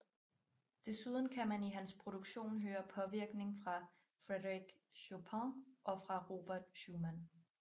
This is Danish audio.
Desuden kan man i hans produktion høre påvirkning fra Frederic Chopin og fra Robert Schumann